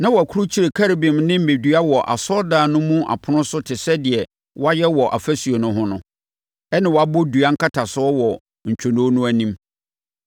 Na wɔakurukyire Kerubim ne mmɛdua wɔ asɔredan no mu apono so te sɛ deɛ wɔayɛ wɔ afasuo no ho no, ɛnna wɔabɔ dua nkatasoɔ wɔ ntwonoo no anim.